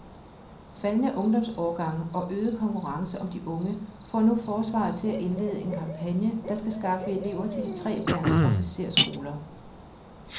Faldende ungdomsårgange og øget konkurrence om de unge får nu forsvaret til at indlede en kampagne, der skal skaffe elever til de tre værns officersskoler.